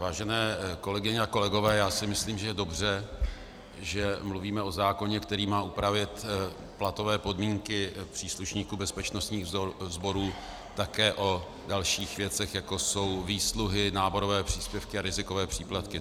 Vážené kolegyně a kolegové, já si myslím, že je dobře, že mluvíme o zákoně, který má upravit platové podmínky příslušníků bezpečnostních sborů, také o dalších věcech, jako jsou výsluhy, náborové příspěvky a rizikové příplatky.